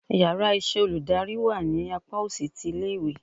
íyarà iṣẹ olùdarí wá ní apá osì tí ilé ìwé